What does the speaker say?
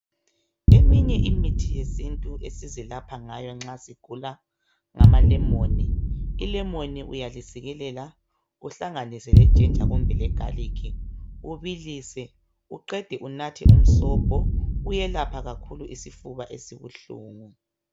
Eminye imithi yesintu esizilapha ngayo masigula ngamalemoni, ilemoni uyalisikelela uhlanganise lejinja kumbe legaliki ubilise uqede unathe umsobho kuyelapha kakhulu isifuba esibuhlungu.